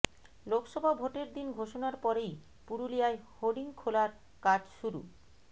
লোকসভা ভোটের দিন ঘোষণার পরেই পুরুলিয়ায় হোর্ডিং খোলার কাজ শুরু